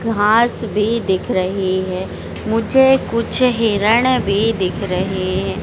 घास भी दिख रही है मुझे कुछ हिरण भी दिख रहे हैं।